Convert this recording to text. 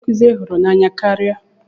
Kedu onye nkụzi I hụrụ n'anya karịa?